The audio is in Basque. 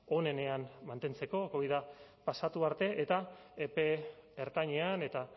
onenean mantentzeko covida pasatu arte eta epe ertainean eta